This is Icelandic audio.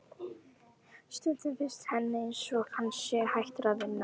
Stundum finnst henni einsog hann sé hættur að vinna.